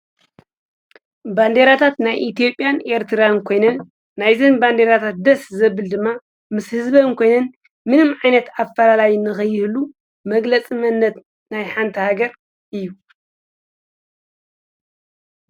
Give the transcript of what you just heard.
ባንዴራታት ናይ ኢቲያጲን ኤርትራን ኮይንን ናይዘን ባንዴራታት ደስ ዘብል ድማ ምስ ሕዝበን ኮይንን ምንም ዓይነት ኣፈላላይ እነኸይህሉ መግለጽ መነት ናይ ሓንታ ሃገር እዩ።